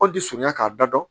An ti surunya k'a da dɔn